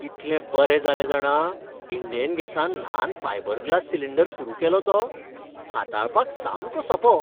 कितलें बरें जालें जाणा इंडेन गॅसान ल्हान फायबर ग्लास सिलिंडर सुरू केलो तो. हाताळपाक सामको सोंपो.